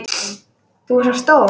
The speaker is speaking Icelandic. Þú ert svo stór.